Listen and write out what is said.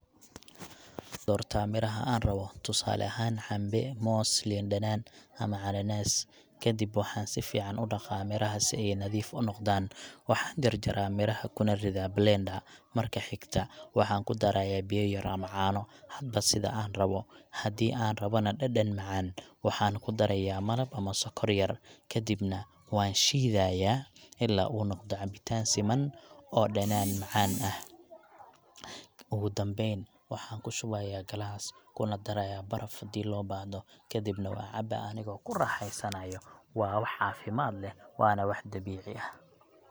waxaan doortaa miraha aan rabo—tusaale ahaan, cambe, moos, liin dhanaan, ama cananaas. Kadib waxaan si fiican u dhaqaa miraha si ay nadiif u noqdaan. Waxaan jarjaraa miraha kuna ridaa blender. Marka xigta, waxaan ku darayaa biyo yar ama caano, hadba sida aan u rabo. Haddii aan rabana dhadhan macaan, waxaan ku darayaa malab ama sokor yar. Kadibna waan shiidayaa ilaa uu noqdo cabitaan siman oo dhanaan macaan leh. Ugu dambeyn, waxaan ku shubaa galaas, ku darayaa baraf haddii loo baahdo, kadibna waan cabaa anigoo raaxaysanayo. Waa caafimaad leh, waana wax dabiici ah.